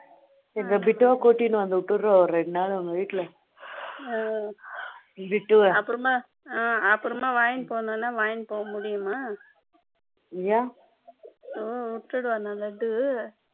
bittu அங்க கூட்டிட்டு வந்து விடுறேன் ரெண்டு நாள் உங்க வீட்டுல bittu அப்பறமாவாங்கிட்டு போணும்னா வாங்கிட்டு போக முடியுமா ஏன் விட்டுடுவானா லட்டு